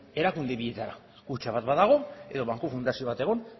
erakunde bietara kutxa bat badago edo banku fundazio bat egon